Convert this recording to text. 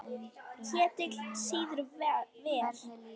Ketill sýður vel.